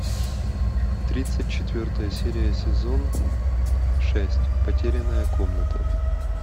тридцать четвертая серия сезон шесть потерянная комната